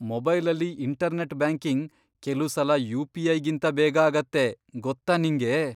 ಮೊಬೈಲಲ್ಲಿ internet banking ಕೆಲುಸಲ ಯು.ಪಿ.ಐ.ಗಿಂತ ಬೇಗ ಆಗತ್ತೆ, ಗೊತ್ತಾ ನಿಂಗೆ?